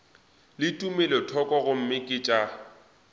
le tumelothoko gomme ke tša